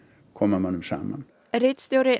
koma mönnum saman ritstjóri